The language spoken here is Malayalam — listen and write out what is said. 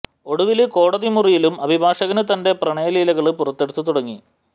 ഒടുവില് കോടതി മുറിയിലും അഭിഭാഷകന് തന്റെ പ്രണയ ലീലകള് പുറത്തെടുത്ത് തുടങ്ങി